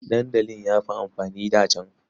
Dandali ya fi amfani a da can.